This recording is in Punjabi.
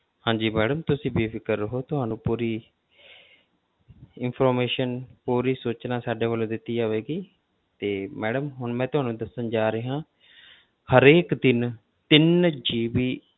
ਹਾਂਜੀ madam ਤੁਸੀਂ ਬੇਫ਼ਿਕਰ ਰਹੋ ਤੁਹਾਨੂੰ ਪੂਰੀ information ਪੂਰੀ ਸੂਚਨਾ ਸਾਡੇ ਵੱਲੋਂ ਦਿੱਤੀ ਜਾਵੇਗੀ ਤੇ madam ਹੁਣ ਮੈਂ ਤੁਹਾਨੂੰ ਦੱਸਣ ਜਾ ਰਿਹਾਂ ਹਰੇਕ ਦਿਨ ਤਿੰਨ GB